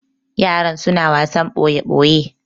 yaran suna wasan boye boye